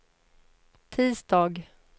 tisdag